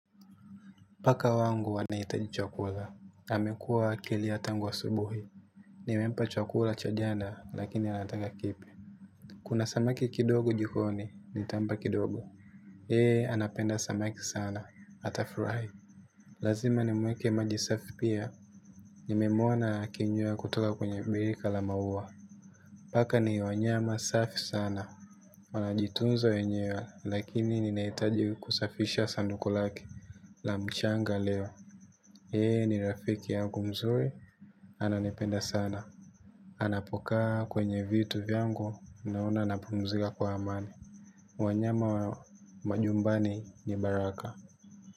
Paka wangu wanahitaji chakula, amekua akilia tangu asubuhi, nimempa chakula cha jana lakini anataka kipya. Kuna samaki kidogo jikoni, nitampa kidogo, hee anapenda samaki sana, hata fry. Lazima nimweke maji safi pia, nimemwona akinywea kutoka kwenye birika la maua. Paka ni wanyama safi sana, wanajitunza wenyewe lakini ninahitaji kusafisha sanduku lake. La mchanga leo yeye ni rafiki yangu mzuri. Ananipenda sana. Anapokaa kwenye vitu vyangu naona napumzika kwa amani. Wanyama wa majumbani ni baraka.